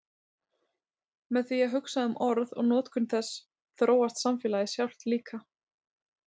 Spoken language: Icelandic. með því að hugsa um orð og notkun þess þróast samfélagið sjálft líka